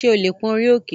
Ṣé o lè pón orí òkè?